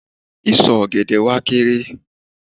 Ìsọ̀ ọ̀gẹ̀dẹ̀ wa kééré.